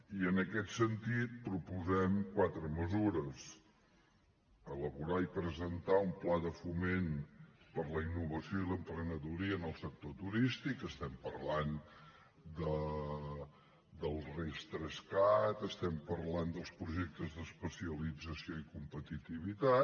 i en aquest sentit proposem quatre mesures elaborar i presentar un pla de foment per a la innovació i l’emprenedoria en el sector turístic estem parlant del ris3cat estem parlant dels projectes d’especialització i competitivitat